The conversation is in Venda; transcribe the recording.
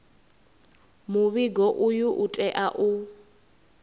muvhigo uyu u tea u